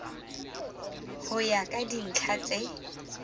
ho ya ka dintlha tse